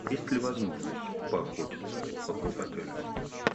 есть ли возможность поохотиться вокруг отеля